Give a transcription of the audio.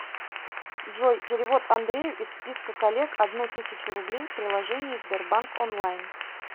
джой перевод андрею из списка коллег одну тысячу рублей в приложении сбербанк онлайн